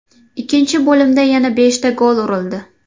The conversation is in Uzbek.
Ikkinchi bo‘limda yana beshta gol urildi.